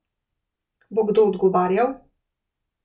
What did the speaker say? Bo kdo odgovarjal?